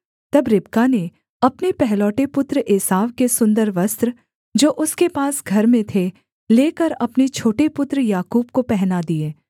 तब रिबका ने अपने पहलौठे पुत्र एसाव के सुन्दर वस्त्र जो उसके पास घर में थे लेकर अपने छोटे पुत्र याकूब को पहना दिए